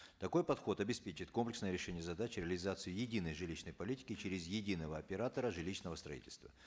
такой подход обеспечит комплексное решение задач реализацию единой жилищной политики через единого оператора жилищного строительства